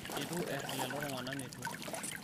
eitu eer lelo tungana metua